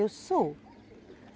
Eu sou.